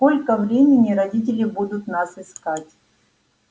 сколько времени родители будут нас искать